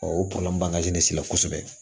o bange ne se la kosɛbɛ